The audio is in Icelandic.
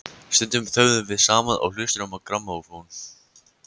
Stundum þögðum við saman og hlustuðum á grammófón.